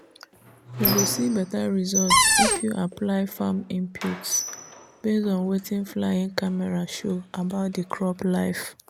you go see better result if you apply farm inputs based on wetin flying camera show about the crop life.